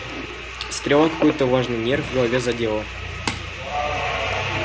стрела какой-то важный нерв в голове задела